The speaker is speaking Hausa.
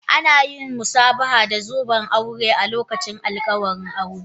Ana yin musabaha da zoben aure a lokacin alƙawuran aure